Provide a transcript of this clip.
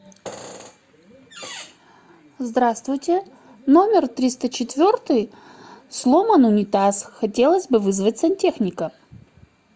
здравствуйте номер триста четвертый сломан унитаз хотелось бы вызвать сантехника